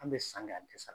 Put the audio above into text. An bɛ san kɛ an tɛ sa